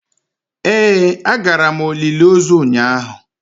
Ee agara m olili ozu ụnyahụ.